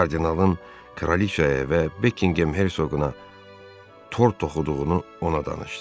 Kardinalın Kraliçaya və Buckingham Hersoğuna tor toxuduğunu ona danışdı.